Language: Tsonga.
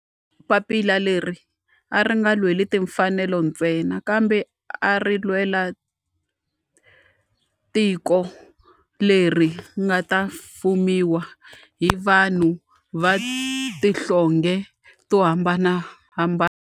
Papila leri a ri nga lweli timfanelo ntsena kambe a ri lwela tiko leri nga ta fumiwa hi vanhu va tihlonge to hambanahambana.